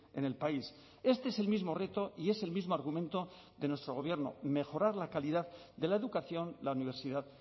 en el país este es el mismo reto y es el mismo argumento de nuestro gobierno mejorar la calidad de la educación la universidad